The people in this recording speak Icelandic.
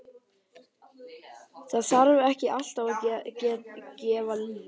Það þarf ekki alltaf að gefa lyf.